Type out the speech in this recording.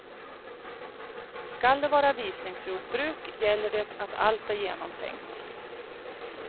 Skall det vara visningsjordbruk gäller det att allt är genomtänkt.